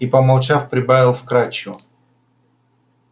и помолчав прибавил вкрадчиво